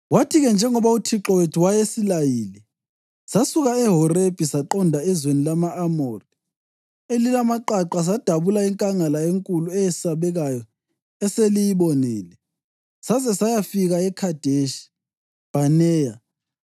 “Kwathi-ke, njengoba uThixo wethu wayesilayile, sasuka eHorebhi saqonda ezweni lama-Amori elilamaqaqa sadabula inkangala enkulu eyesabekayo eseliyibonile, saze sayafika eKhadeshi Bhaneya.